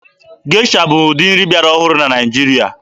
Gesha bụ ụdị nri bịara ọhụrụ na Naịjirịa.